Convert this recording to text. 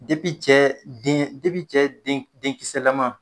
cɛ den cɛ denkisɛlama